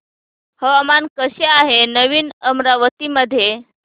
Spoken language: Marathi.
हवामान कसे आहे नवीन अमरावती मध्ये